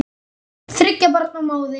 Þriggja barna móðir.